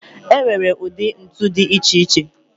E nwere ụdị ntu dị iche iche